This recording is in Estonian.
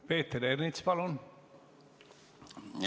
Peeter Ernits, palun!